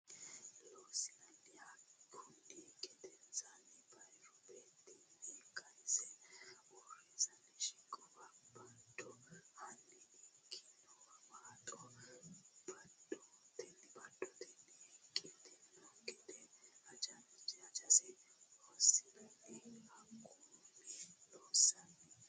Loossinanni Hakkunni gedensaanni bayiru beettinni kayisse usurantino siqquwa bado hanni ki ne waaxo badotenni hiiqqitanno gede hajajinsa Loossinanni Hakkunni Loossinanni.